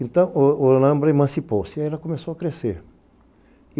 Então, Olambra emancipou-se e ela começou a crescer.